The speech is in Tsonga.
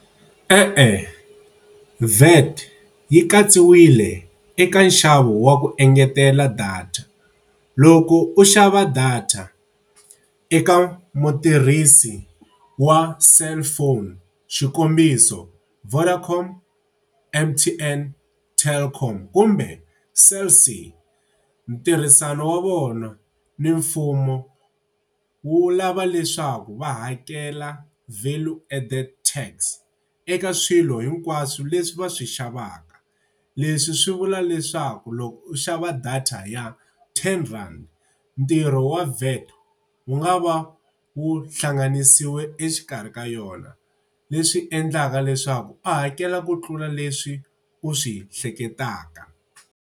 E-e, V-A_T yi katsiwile eka nxavo wa ku engetela data. Loko u xava data eka mutirhisi wa cellphone, xikombiso Vodacom, M_T_N, Telkom kumbe Cell C ntirhisano wa vona ni mfumo wu lava leswaku va hakela value added tax eka swilo hinkwaswo leswi va swi xavaka. Leswi swi vula leswaku loko u xava data ya ten rand ntirho wa VAT wu nga va wu hlanganisiwe exikarhi ka yona, leswi endlaka leswaku u hakela ku tlula leswi u swi hleketaka.